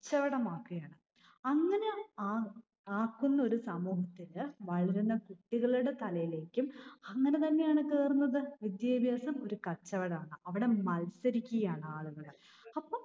ച്ചവടം ആകുകയാണ്. അങ്ങിനെ ആ ആക്കുന്ന ഒരു സമൂഹത്തില് വളരുന്ന കുട്ടികളുടെ തലയിലേക്കും അങ്ങിനെതന്നെയാണ് കേറുന്നത്. വിദ്യാഭ്യാസം ഒരു കച്ചവടമാണ്. അവിടെ മത്സരിക്കുകയാണ് ആളുകൾ. അപ്പൊ